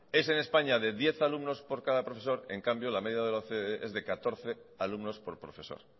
es en españa de diez alumnos por profesor en cambio la media de la ocde es de catorce alumnos por profesor